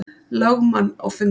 lögmann á fundinn.